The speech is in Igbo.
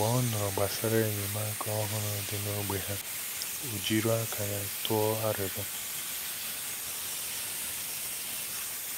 Mgbe ọ nụrụ gbasàrà enyémàkà òhùrù dị n’ógbè ha, ó jìrò aka ya tụọ arịrịọ.